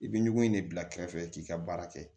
I bɛ ɲɔgɔn in de bila kɛrɛfɛ k'i ka baara kɛ